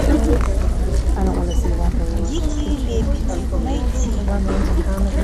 дикие лебеди найти